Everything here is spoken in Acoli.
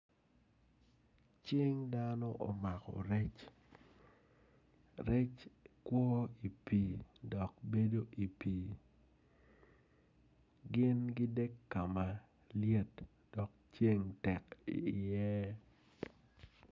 Cing dano omako rec rec kwo i pii dok bedo i pii gin gidek kama lyet dok ceng tek iye.